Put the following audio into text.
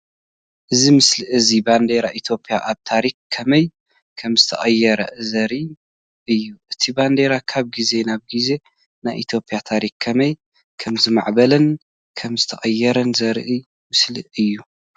እዚ ምስሊ እዚ ባንዴራ ኢትዮጵያ ኣብ ታሪኽ ከመይ ከምዝተቐየረ ዘርኢ እዩ። እቲ ባንዴራ ካብ ግዜ ናብ ግዜ ናይ ኢትዮጵያ ታሪኽ ከመይ ከምዝማዕበለን ከምዝተቐየረን ዘርኢ ምስሊ እዩ